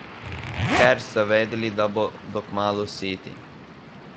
Ker so vedeli, da bodo kmalu siti.